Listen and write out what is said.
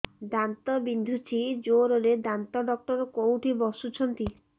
ଦାନ୍ତ ବିନ୍ଧୁଛି ଜୋରରେ ଦାନ୍ତ ଡକ୍ଟର କୋଉଠି ବସୁଛନ୍ତି